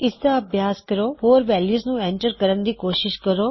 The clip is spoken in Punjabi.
ਇਸਦਾ ਅਭਿਆਸ ਕਰੋ ਹੋਰ ਵੈਲਯੂਜ ਨੂੰ ਐਂਟਰ ਕਰਨ ਦੀ ਕੋਸ਼ਿਸ਼ ਕਰੋ